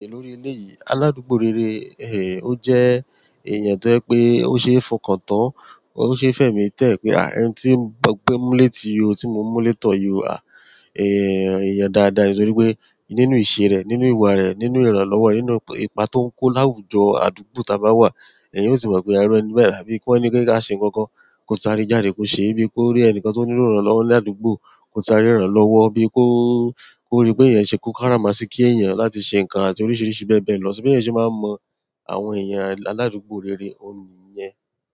Lórí eléyìí, aládùúgbò rere, ẹ, ó jẹ́ ẹ̀yàn tó jẹ pé ó ṣe é fọkàn tán, ó ṣe é fẹ̀mi tẹ́ẹ́ pé à, ẹni tí mo pé mú létí o, tí mo mú létọ̀ yọ à, ẹ, ẹ̀yàn dáadáa nítorí pé nínú ìṣe rẹ, nínú ìwà rẹ, nínú ìrànlọ́wọ́, nínú ipa tó ń kó láwùjọ àdúgbò tá bá wà, èèyàn yóò sì mọ̀ pé irú ẹni bẹ́ẹ̀, àbí wọ́n ní pé ká a ṣe nǹkan kan, kó sa rẹ jáde kó ṣe bí i kó rí ẹnìkan tó nílò ìrànlọ́wọ́ ní àdúgbò, kó sa rẹ rànló wọ́, bí i kó, kó rí pé ẹ̀yàn ṣe kún kárámà sí kí ẹ̀yàn láti ṣe nǹkan àti oríṣiríṣi bẹ́ẹ̀ bẹ́ẹ̀ lọ. So bẹ́ yàn ṣe máa mọ àwọn ẹ̀yàn aládùúgbò rere ọ̀ní yẹn?